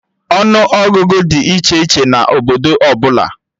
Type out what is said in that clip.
Ọnụ Ọgụgụ dị iche iche na obodo ọbụla